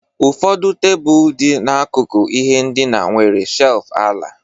Ụfọdụ tebụl dị n'akụkụ ihe ndina nwere shelf ala